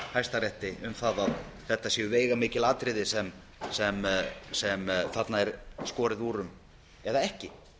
hæstarétti um það að þetta séu veigamikil atriði sem þarna er skorið úr um eða ekki